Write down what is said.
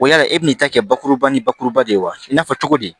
Wali e bɛna n'i ta kɛ bakuruba ni bakuruba de ye wa i n'a fɔ cogo di